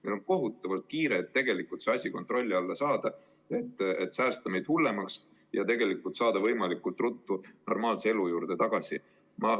Meil on kohutavalt kiire see asi kontrolli alla saada, et säästa meid hullemast ja saada võimalikult ruttu normaalse elu juurde tagasi.